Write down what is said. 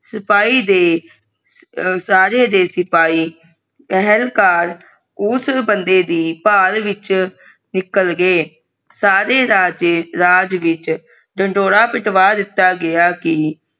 ਸਿਪਾਹੀ ਦੇ ਸਾਰੇ ਦੇ ਸਿਪਾਹੀ ਪੇਹਾਲਕਾਰ ਉਸ ਬੰਦੇ ਦੀ ਭਾਲ ਵਿਚ ਨਿਕਲ ਗਏ ਸਾਰੇ ਰਾਜੇ ਰਾਜਗੀ ਚੇ ਢਿੰਡੋਰਾ ਪਿਟਵਾ ਦਿੱਤਾ ਗਯਾ ਕਿ